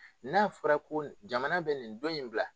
N'a fɔra ko jamana bɛ nin dɔn in bila